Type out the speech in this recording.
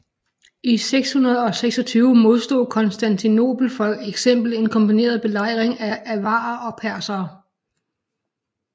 I 626 modstod Konstantinopel for eksempel en kombineret belejring af avarere og persere